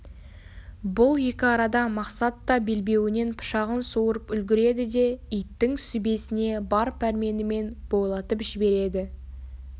бұл екі арада мақсат да белбеуінен пышағын суырып үлгіреді де иттің сүбесіне бар пәрменімен бойлатып жібереді